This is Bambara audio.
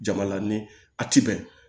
Jama la ni a ti bɛn